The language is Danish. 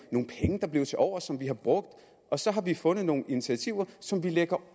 nogle penge der blev tilovers som vi har brugt og så har vi fundet nogle initiativer som vi lægger